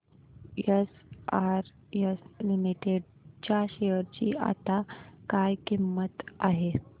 SRS limited च्या share ची आता काय किंमत आहे